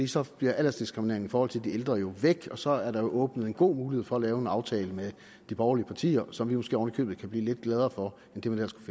så forsvinder aldersdiskrimineringen for de ældre og så er der jo åbnet en god mulighed for at lave en aftale med de borgerlige partier som vi måske oven i købet kan blive lidt gladere for end det man ellers